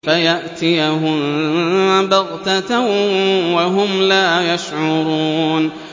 فَيَأْتِيَهُم بَغْتَةً وَهُمْ لَا يَشْعُرُونَ